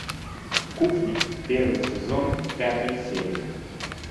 кухня первый сезон пятая серия